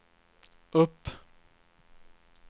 upp